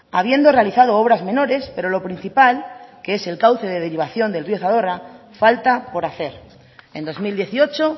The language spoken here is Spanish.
habiendo realizado obras menores pero lo principal que es el cauce de derivación del río zadorra falta por hacer en dos mil dieciocho